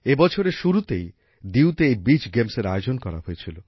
এই বছরের শুরুতেই দিউতে এই বিচ গেমসের আয়োজন করা হয়েছিল